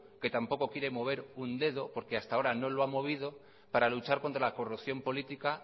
que tampoco quiere mover un dedo porque hasta ahora no lo ha movido para luchar contra la corrupción política